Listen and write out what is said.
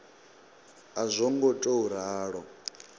a zwo ngo tou ralo